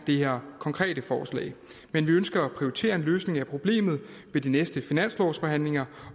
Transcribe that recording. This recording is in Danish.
det her konkrete forslag men vi ønsker at prioritere en løsning af problemet ved de næste finanslovsforhandlinger